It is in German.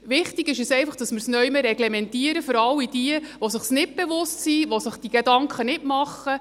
Wichtig ist einfach, dass wir es irgendwo reglementieren für alle die, denen es nicht bewusst ist, die sich diese Gedanken nicht machen.